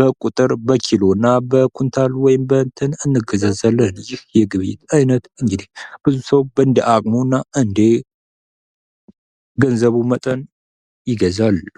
በቁጥር፣ በኪሎ እና በኩንታል ወይም በእንትን እንገዛዛለን። ይኽ የግብይት አይነት እንግዲህ ሁሉም ሰው እንደ አቅሙ እና እንደ ገንዘቡ መጠን ይገዛል።